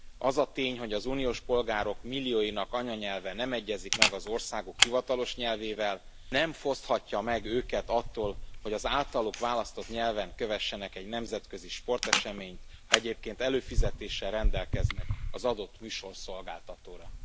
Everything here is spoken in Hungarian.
Az a tény, hogy az uniós polgárok millióinak anyanyelve nem egyezik meg az országuk hivatalos nyelvével, nem foszthatja meg őket attól, hogy az általuk választott nyelven kövessenek egy nemzetközi sporteseményt, ha egyébként előfizetéssel rendelkeznek az adott műsorszolgáltatóra.